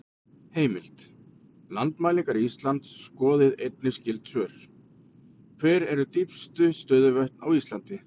Heimild: Landmælingar Íslands Skoðið einnig skyld svör: Hver eru dýpstu stöðuvötn á Íslandi?